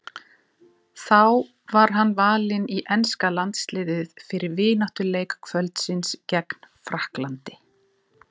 Þá var hann valinn í enska landsliðið fyrir vináttuleik kvöldsins gegn Frakklandi.